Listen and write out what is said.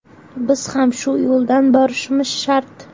Biz ham shu yo‘ldan borishimiz shart.